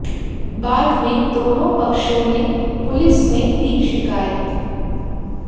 बाद में दोनों पक्षों ने पुलिस में दी शिकायत